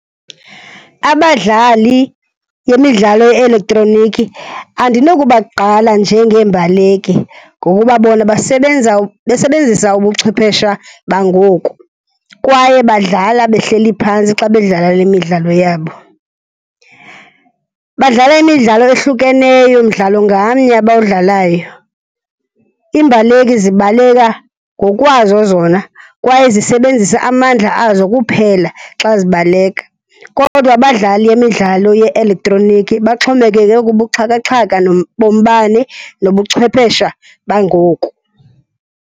Abadlali yemidlalo ye-elektroniki andinokubagqala njengeembaleki ngokuba bona basebenza besebenzisa ubuchwephesha bangoku kwaye badlala bahleli phantsi xa bedlala le midlalo yabo. Badlala imidlalo eyohlukeneyo mdlalo ngamnye abawudlalayo. Iimbaleki zibaleka ngokwazo zona kwaye zisebenzisa amandla azo kuphela xa zibaleka, kodwa abadlali yemidlalo ye-elektroniki baxhomekeke kubuxhakaxaka bombane nobuchwephesha bangoku.